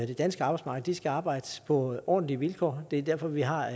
det danske arbejdsmarked skal arbejde på ordentlige vilkår det er derfor vi har